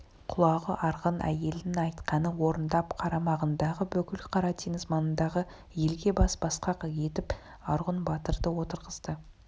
құлағу арғын әйелінің айтқанын орындап қарамағындағы бүкіл қара теңіз маңындағы елге бас басқақ етіп арғұн батырды отырғызды